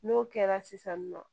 N'o kɛra sisan nɔ